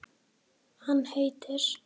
Hann heitir